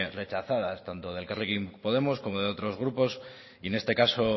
rechazadas tanto de elkarrekin podemos como de otros grupos y en este caso